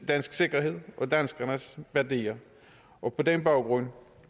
dansk sikkerhed og danskernes værdier og på den baggrund